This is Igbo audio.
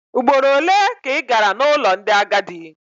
Ugboro ole ka ị gara n'ụlọ ndị agadi?